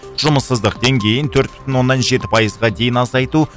жұмыссыздық деңгейін төрт бүтін оннан жеті пайызға дейін азайту